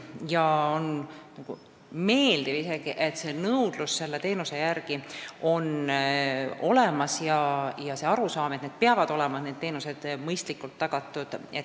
Ja see on isegi meeldiv, et nõudlus teenuste järele on olemas ja on kasvanud arusaam, et need teenused peavad olema mõistlikult tagatud.